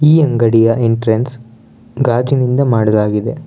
ಈ ಅಂಗಡಿಯ ಎಂಟ್ರೆನ್ಸ್ ಗಾಜಿನಿಂದ ಮಾಡಲಾಗಿದೆ.